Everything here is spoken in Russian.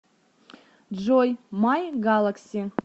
джой май галакси